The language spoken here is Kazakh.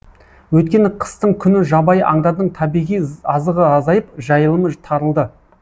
өйткені қыстың күні жабайы аңдардың табиғи азығы азайып жайылымы тарылды